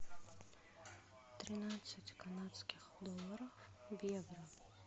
тринадцать канадских долларов в евро